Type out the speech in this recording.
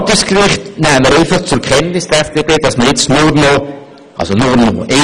Beim Verwaltungsgericht nimmt die FDP zur Kenntnis, dass nur noch ein Kandidat übrig geblieben ist.